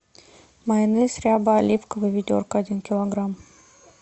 майонез ряба оливковый ведерко один килограмм